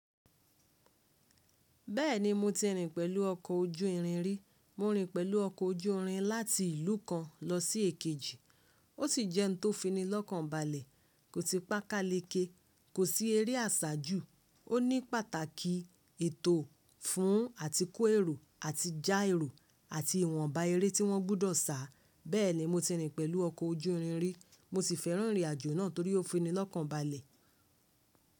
Bẹ́ẹ̀ni mo ti rìn pẹ̀lú ọkọ̀ ojú irin rí. Mo rìn pẹ̀lú ọkọ̀ ojú irin láti ìlú kan lọ sí èkejì. Ó sì jẹ́ ohun tó fini lọ́kàn balẹ̀, kò si pá kalẹ̀kẹ̀, kò sí eré àsájù, ó ní pàtàkì ètò fún à ti kó èrò àti já èrò àti ìwọ̀nba eré tí wọ́n gbọ́dọ̀ sá. Bẹ́ẹ̀ni mo ti rìn pẹ̀lú ọkọ̀ ojú irin rí, mo sì fẹ́ràn ìrìn àjò náà torí ó fini lọ́kàn balẹ̀.